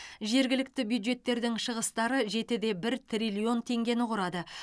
жергілікті бюджеттердің шығыстары жеті де бір триллион теңгені құрады